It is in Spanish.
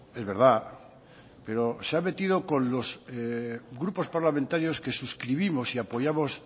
es verdad pero se ha metido con los grupos parlamentarios que suscribimos y apoyamos